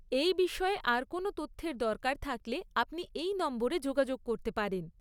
এই বিষয়ে আর কোনও তথ্যের দরকার থাকলে আপনি এই নম্বরে যোগাযোগ করতে পারেন।